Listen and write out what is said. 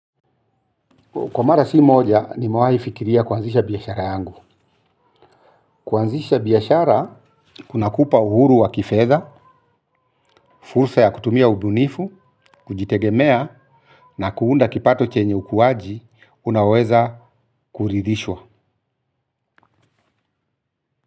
Kwa mara si moja nimewahi fikiria kuanzisha biashara yangu. Kuanzisha biashara, kuna kupa uhuru wa kifedha, fursa ya kutumia ubunifu, kujitegemea, na kuunda kipato chenye ukuaji, unaweza kurithishwa.